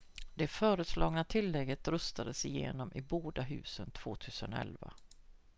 det föreslagna tillägget röstades igenom i båda husen 2011